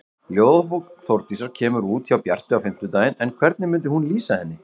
Ljóðabók Þórdísar kemur út hjá Bjarti á fimmtudaginn en hvernig myndi hún lýsa henni?